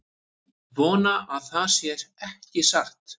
Vona að það sé ekki satt